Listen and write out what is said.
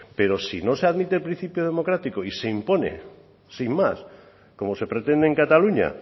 pero si no se admite el principio democrático y se impone sin más como se pretende en cataluña